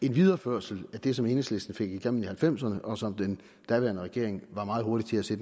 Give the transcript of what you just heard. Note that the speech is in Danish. en videreførsel af det som enhedslisten fik igennem i nitten halvfemserne og som den daværende regering var meget hurtig til